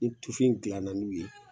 Ni tufinw dilanna n'u ye